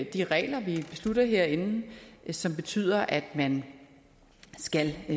de regler vi beslutter herinde som betyder at man skal